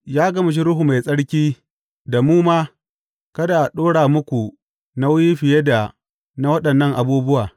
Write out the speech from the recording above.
Ya gamshe Ruhu Mai Tsarki da mu ma kada a ɗora muku nauyi fiye da na waɗannan abubuwa.